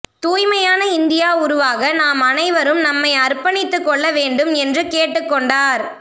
தூய்மையான இந்தியா உருவாக நாம் அனைவரும் நம்மை அர்ப்பணித்துக்கொள்ள வேண்டும் என்றும் கேட்டுக்கொண்டார்